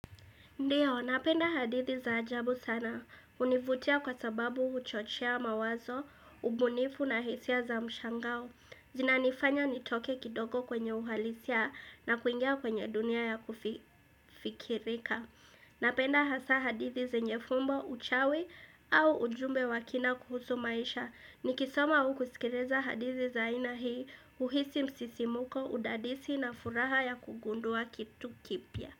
Ndiyo, napenda hadithi za ajabu sana. Hunivutia kwa sababu huchochea mawazo, ubunifu na hisia za mshangao. Zinanifanya nitoke kidogo kwenye uhalisia na kuingia kwenye dunia ya kufikirika. Napenda hasa hadithi zenye fumbo uchawi au ujumbe wa kina kuhusu maisha. Nikisoma au kisikiliza hadithi za aina hii, huhisi msisimuko, udadisi na furaha ya kugundua kitu kipya.